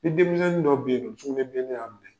Ni denmisɛnnin dɔ bɛ yen nɔ, sugunɛbilenni y'a minɛ